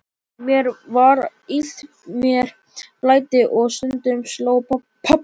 Mér var illt, mér blæddi og stundum sló pabbi mig.